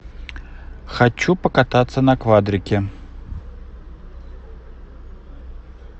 хочу покататься на квадрике